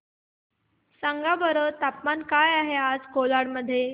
सांगा बरं तापमान काय आहे आज कोलाड मध्ये